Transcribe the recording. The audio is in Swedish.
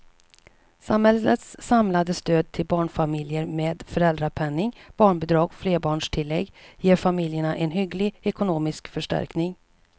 Samhällets samlade stöd till barnfamiljerna med föräldrapenningen, barnbidragen och flerbarnstilläggen ger familjerna en hygglig ekonomisk förstärkning.